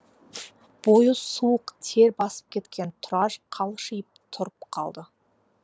бойы суық тер басып кеткен тұраш қалшиып тұрып қалды